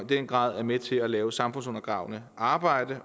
den grad er med til at lave samfundsundergravende arbejde